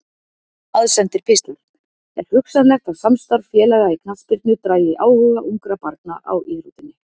Aðsendir pistlar Er hugsanlegt að samstarf félaga í knattspyrnu dragi áhuga ungra barna á íþróttinni?